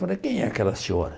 Falei, quem é aquela senhora?